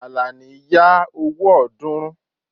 Àlàní ya owó ọ̀ọ́dúnrún